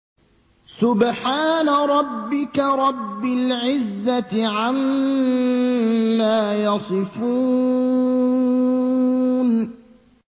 سُبْحَانَ رَبِّكَ رَبِّ الْعِزَّةِ عَمَّا يَصِفُونَ